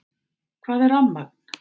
Hvað er rafmagn?